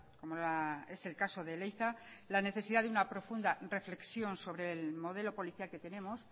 como es el caso de leiza la necesidad de una profunda reflexión sobre el modelo policial que tenemos